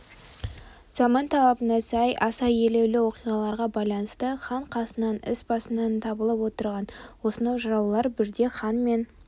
заман талабына сай аса елеулі оқиғаларға байланысты хан қасынан іс басынан табылып отырған осынау жыраулар бірде хан мен